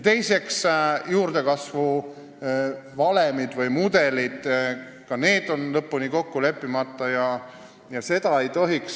Teiseks, juurdekasvu valemid või mudelid – ka need on lõpuni kokku leppimata ja nii ei tohiks olla.